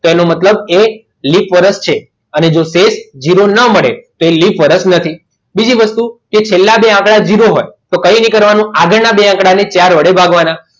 તેનો મતલબ એ લિપ વર્ષ છે અને જો તે જ ઝીરો ના મળે તો તે લિપ વર્ષ નથી બીજી વસ્તુ કે છેલ્લે બે આંકડા ઝીરો હોય તો કંઈ નહીં કરવાનું આગળના બે આંકડાને ચાર વડે ભાગવાના